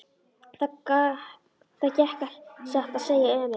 Það gekk satt að segja ömurlega.